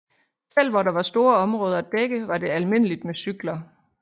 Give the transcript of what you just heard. Selv hvor der var store områder at dække var det almindeligt med cykler